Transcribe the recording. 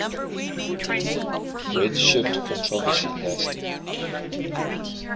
redshift controversy lasted